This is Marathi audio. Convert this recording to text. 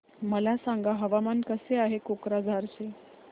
मला सांगा हवामान कसे आहे कोक्राझार चे